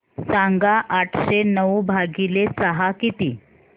सांगा आठशे नऊ भागीले सहा किती